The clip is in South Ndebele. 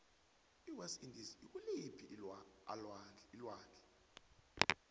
iwest indies ikuliphii alwandle